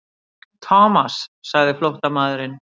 Thomas sagði flóttamaðurinn.